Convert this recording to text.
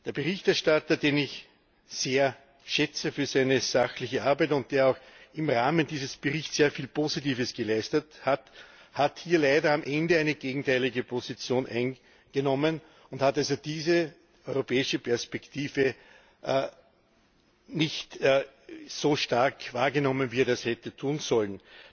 Der Berichterstatter, den ich für seine sachliche Arbeit sehr schätze und der auch im Rahmen dieses Berichts sehr viel Positives geleistet hat, hat hier leider am Ende eine gegenteilige Position eingenommen und hat diese europäische Perspektive nicht so stark wahrgenommen, wie er das hätte tun sollen.